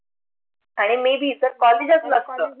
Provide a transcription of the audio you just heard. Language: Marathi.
आणि may be जर college च नसत